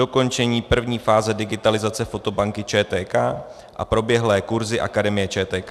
, dokončení první fáze digitalizace fotobanky ČTK a proběhlé kurzy Akademie ČTK.